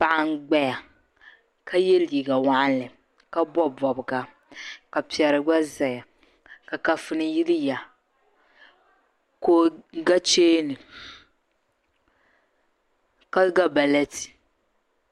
paɣa n-gbaya ka ye liiga waɣiŋli ka bɔbi bɔbiga ka piɛri gba zaya ka kafuni yiliya ka o ga cheeni ka ga baleeti